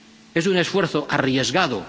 Es un esfuerzo arriesgado.